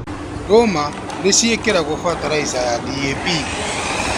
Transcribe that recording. Ndũma nĩ ciĩkĩragwo bataraica ya D.A.P